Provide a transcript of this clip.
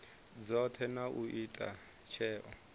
dzothe na u ita tsheo